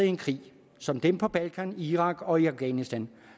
i en krig som dem på balkan i irak og i afghanistan